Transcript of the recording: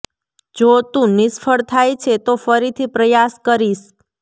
જો તું નિષ્ફળ થાય છે તો ફરીથી પ્રયાસ કરીશ